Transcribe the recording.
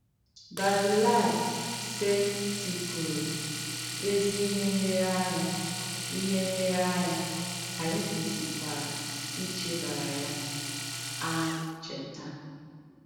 Bazilaị sètìpùrụ̀ èzí ìhé ǹleréànyà, ìhé ǹleréànyà, ànyị̣ kwèsìkwarà ìchèbàrà ya àn̄chétà.